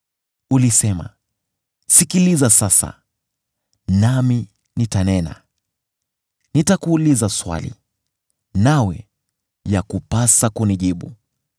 “Ulisema, ‘Sikiliza sasa, nami nitanena; nitakuuliza swali, nawe yakupasa kunijibu.’